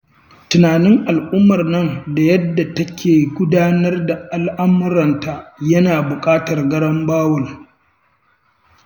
Tunanin al'ummar nan da yadda take gudanar da al'amuranta, yana buƙatar garambawul.